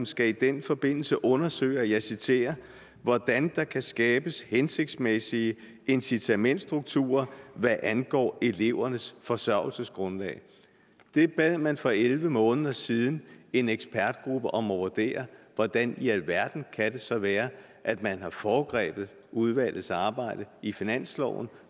skal i den forbindelse undersøge og jeg citerer hvordan der kan skabes hensigtsmæssige incitamentsstrukturer hvad angår elevernes forsørgelsesgrundlag det bad man for elleve måneder siden en ekspertgruppe om at vurdere hvordan i alverden kan det så være at man har foregrebet udvalgets arbejde i finansloven